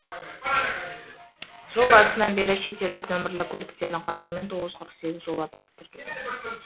жыл басынан бері шетелдік нөмірлі көліктердің қатысуымен тоғыз жүз қырық сегіз жол апаты тіркелген